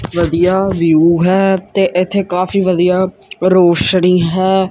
ਵਧੀਆ ਵਿਊ ਹੈ ਤੇ ਇਥੇ ਕਾਫੀ ਵਧੀਆ ਰੋਸ਼ਨੀ ਹੈ।